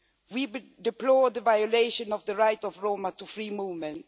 We deplore the violation of the right of Roma to free movement.